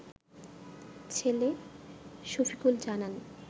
ছেলে শফিকুল জানান